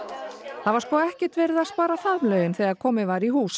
það var sko ekkert verið að spara faðmlögin þegar komið var í hús